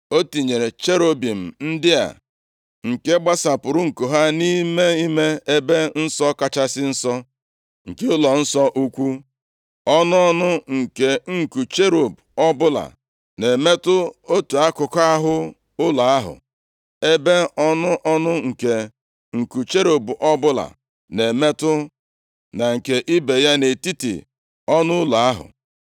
O tinyere cherubim ndị a nke gbasapụrụ nku ha nʼime ime Ebe Nsọ Kachasị Nsọ nke ụlọnsọ ukwu. Ọnụ ọnụ nke nku cherub ọbụla na-emetụ otu akụkụ ahụ ụlọ ahụ, ebe ọnụ ọnụ nke nku cherub ọbụla na-emetụ na nke ibe ya nʼetiti ọnụụlọ ahụ.